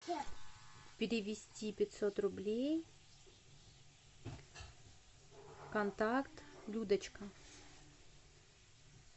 перевести пятьсот рублей контакт людочка